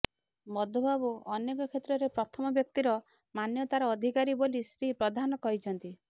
ମଧୁବାବୁ ଅନେକ କ୍ଷେତ୍ରରେ ପ୍ରଥମ ବ୍ୟକ୍ତିର ମାନ୍ୟତାର ଅଧିକାରୀ ବୋଲି ଶ୍ରୀ ପ୍ରଧାନ କହିଛନ୍ତି